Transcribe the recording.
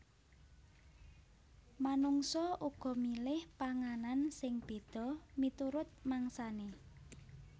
Manungsa uga milih panganan sing béda miturut mangsané